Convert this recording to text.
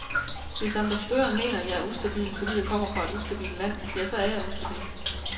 Hvis ambassadøren mener, at jeg er ustabil, fordi jeg kommer fra et ustabilt land, ja, så er jeg ustabil.